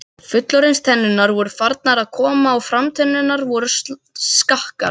Fullorðins- tennurnar voru farnar að koma og framtennurnar voru skakkar.